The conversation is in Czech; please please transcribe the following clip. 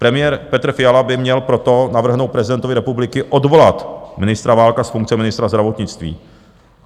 Premiér Petr Fiala by měl proto navrhnout prezidentu republiky odvolat ministra Válka z funkce ministra zdravotnictví.